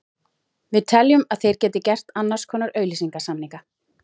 Við teljum að þeir geti gert annars konar auglýsingasamninga.